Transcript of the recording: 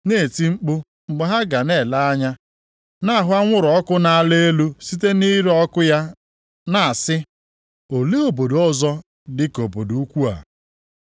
na-eti mkpu mgbe ha ga na-ele anya na-ahụ anwụrụ ọkụ na-ala elu site nʼire ọkụ ya na-asị, ‘Olee obodo ọzọ dịka obodo ukwuu a?’